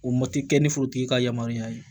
O ma kɛ ni forotigi ka yamaruya ye